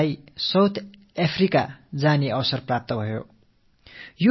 எனதருமை நாட்டு மக்களே கடந்த நாட்களில் தென்னாப்பிரிக்கா பயணிக்கும் ஒரு வாய்ப்பு எனக்குக் கிட்டியது